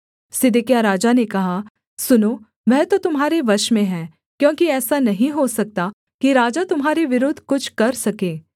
सिदकिय्याह राजा ने कहा सुनो वह तो तुम्हारे वश में है क्योंकि ऐसा नहीं हो सकता कि राजा तुम्हारे विरुद्ध कुछ कर सके